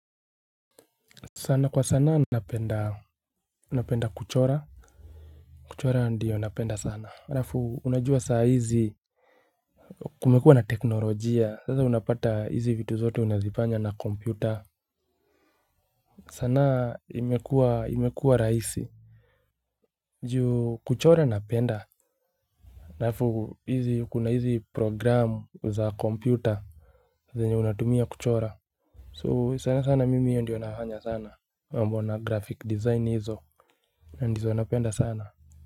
Sana kwa sana napenda kuchora kuchora ndiyo napenda sana halafu unajua saa hizi kumekuwa na teknolojia sasa unapata hizi vitu zote unazifanya na kompyuta sana imekuwa rahisi juu kuchora napenda halafu hizi kuna hizi programu za kompyuta zenye unatumia kuchora so sana sana mimi hiyo ndiyo nafanya sana mambo na graphic design hizo ndizo napenda sana.